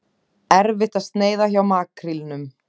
Erfitt að sneiða hjá makrílnum